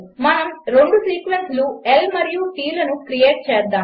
మనము రెండు సీక్వెన్సులు L మరియు T లను క్రియేట్ చేద్దాము